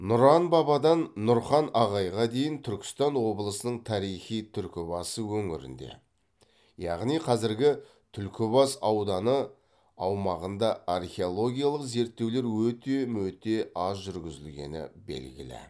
нұран бабадан нұрхан ағайға дейін түркістан облысының тарихи түркібасы өңірінде яғни қазіргі түлкібас ауданы аумағында археологиялық зерттеулер өте мөте аз жүргізілгені белгілі